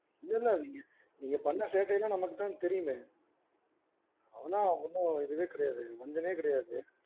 இல்ல இல்ல நீங்க பண்ண சேட்டை எல்லாம் நமக்கு தா தெரியுமே. ஆனா ஒன்னும் இதுவே கிடையாது வந்ததே கிடையாது.